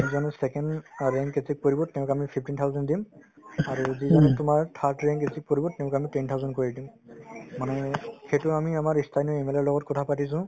যিজনে second অ rank achieve কৰিব তেওঁক আমি fifteen thousand দিম ing আৰু যিজনে তোমাৰ third rank achieve কৰিব তেওঁক আমি ten thousand কৈ দিম মানে সেইটো আমি আমাৰ মানে লগত কথা পাতিছো